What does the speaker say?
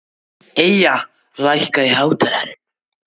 Eyja, lækkaðu í hátalaranum.